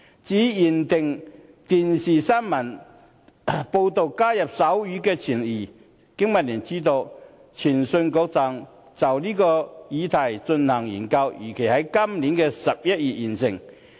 至於"規定電視新聞報導須加入手語傳譯"，經民聯知悉，通訊事務管理局正就這議題進行研究，預計在今年11月完成。